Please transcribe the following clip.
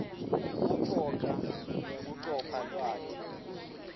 kucoca nekucopha lwati